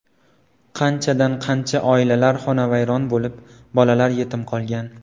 Qanchadan qancha oilalar xonavayron bo‘lib, bolalar yetim qolgan.